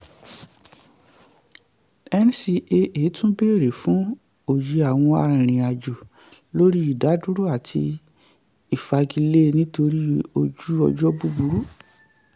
ncaa tún béèrè fún òye àwọn arìnrìn-àjò lórí ìdádúró àti ìfagilé nítorí ojú ọjọ́ búburú.